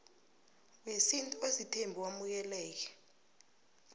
wesintu osithembu wamukeleke